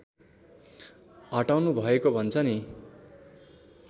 हटाउनु भएको भन्छ नि